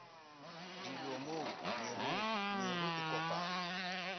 le dilomo meru e kopaneng